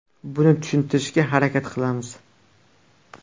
Buni tushuntirishga harakat qilamiz.